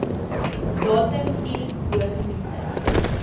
datum i bogenoemde